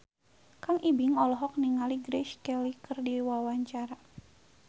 Kang Ibing olohok ningali Grace Kelly keur diwawancara